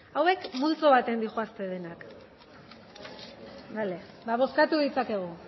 hauek multzo baten dioazte denak bozkatu ditzakegu